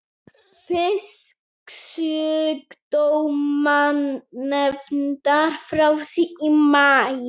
Fisksjúkdómanefndar frá því í maí.